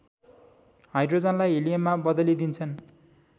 हाइड्रोजनलाई हिलियममा बदलिदिन्छन्